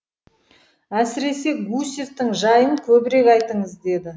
әсіресе гусевтің жайын көбірек айтыңыз деді